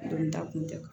Don da kun tɛ